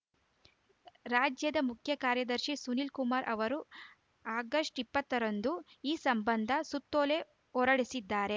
ರಾಜ್ಯದ ಮುಖ್ಯಕಾರ್ಯದರ್ಶಿ ಸುನೀಲ್‌ ಕುಮಾರ್‌ ಅವರು ಆಗಸ್ಟ್ ಇಪ್ಪತ್ತರಂದು ಈ ಸಂಬಂಧ ಸುತ್ತೋಲೆ ಹೊರಡಿಸಿದ್ದಾರೆ